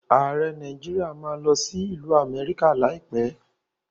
Ààrẹ Nàíjíríà má a lọ sí ìlú Amẹ́ríkà láìpẹ́.